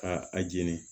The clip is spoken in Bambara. Ka a jeni